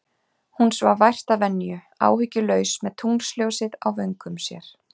Hún svaf vært að venju, áhyggjulaus, með tunglsljósið á vöngum sér.